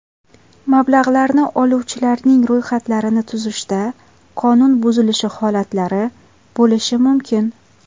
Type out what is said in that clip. Mablag‘larni oluvchilarning ro‘yxatlarini tuzishda qonun buzilishi holatlari bo‘lishi mumkin.